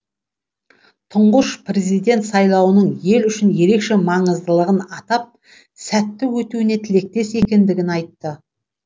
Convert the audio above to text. тұңғыш президент сайлаудың ел үшін ерекше маңыздылығын атап сәтті өтуіне тілектес екендігін айтты